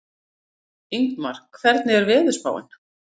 Ingmar, hvernig er veðurspáin?